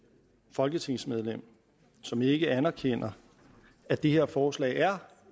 folketingsmedlem som ikke anerkender at det her forslag er